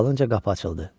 Dalınca qapı açıldı.